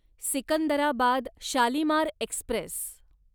Secunderabad Shalimar Express